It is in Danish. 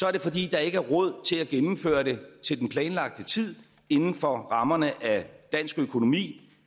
er det fordi der ikke er råd til at gennemføre det til den planlagte tid inden for rammerne af dansk økonomi